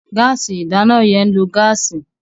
Gáàsì ìdáná yẹn ń lo gáàsì.